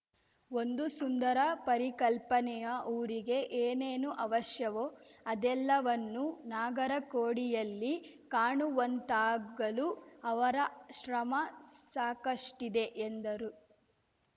ಒಂದು ಸುಂದರ ಪರಿಕಲ್ಪನೆಯ ಊರಿಗೆ ಏನೇನು ಅವಶ್ಯವೊ ಅದೆಲ್ಲವನ್ನೂ ನಾಗರಕೊಡಿಯಲ್ಲಿ ಕಾಣುವಂತಾಗಲು ಅವರ ಶ್ರಮ ಸಾಕಷ್ಟಿದೆ ಎಂದರು